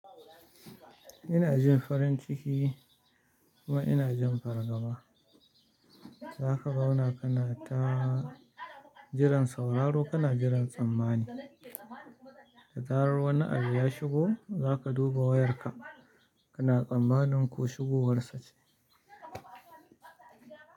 Ina jin farin ciki kuma ina jin fargaba. Zaka zauna kana ta jiran sauraro kana jiran tsammani. Da zarar wani abu ya shigo, za ka duba wayarka kana tsammanin ko shigo war sa ce.